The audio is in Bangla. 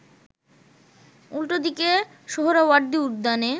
উল্টো দিকে সোহরাওয়ার্দী উদ্যানে